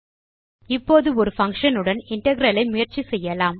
இப்போது ஒரு பங்ஷன் உடன் இன்டெக்ரல் ஐ முயற்சி செய்யலாம்